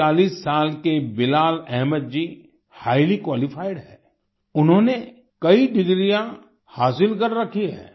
39 साल के Bilal Ahmed ji highly qualified हैं उन्होंने कई डिग्रियां हासिल कर रखी हैं